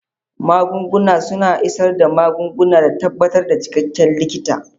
Magunguna suna isar da magunguna da tabbatar da cikakken likita.